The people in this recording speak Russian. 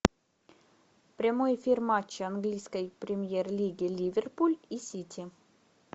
прямой эфир матча английской премьер лиги ливерпуль и сити